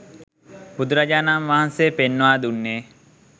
බුදුරජාණන් වහන්සේ පෙන්වා දුන්නේ